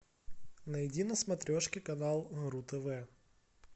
найди на смотрешке канал ру тв